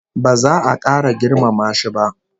Ba za a kara girmama shi ba